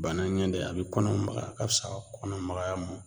Bana ɲɛ de a bɛ kɔnɔ magaya a ka fisa kɔnɔmagaya ma